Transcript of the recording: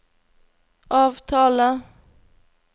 avtale